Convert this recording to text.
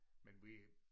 Men vi